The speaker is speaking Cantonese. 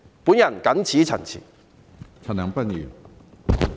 我謹此陳辭。